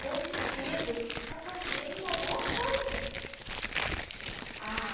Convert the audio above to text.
No sentido de estar fazendo uma boa coisa. Ah